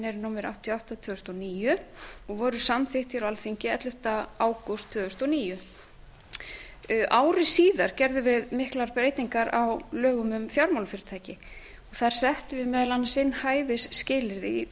eru númer áttatíu og átta tvö þúsund og níu og voru samþykkt á alþingi ellefta ágúst tvö þúsund og níu ári síðar gerðum við miklar breytingar á lögum um fjármálafyrirtæki þar settum við meðal annars inn hæfisskilyrði í